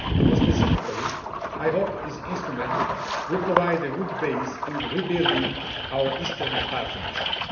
More specifically, I hope this instrument will provide a good base for rebuilding our Eastern Partnership.